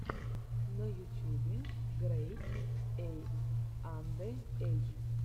на ютюбе грэйд эй анде эй